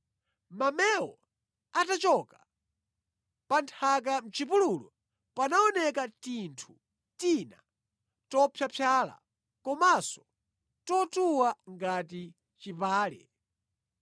Mamewo atachoka, pa nthaka mʼchipululumo panaoneka tinthu tina topyapyala komanso totuwa ngati chipale.